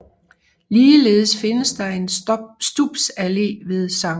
Ligeledes findes der en Stubs Alle ved Sct